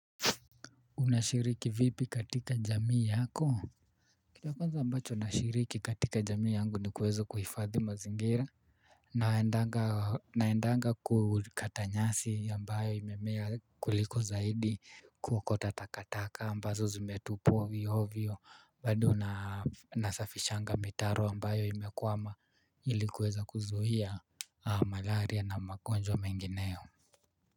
Unashiriki vipi katika jamii yako? Kitu cha kwanza ambacho nashiriki katika jamii yangu ni kuweza kuhifadhi mazingira. Naendanga kukata nyasi ambayo imemea kuliko zaidi, kuakota takataka ambazo zimetupwa ovyo ovyo bado na nasafishanga mitaro ambayo imekwama ili kuweza kuzuia malaria na magonjwa mengineo.